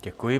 Děkuji.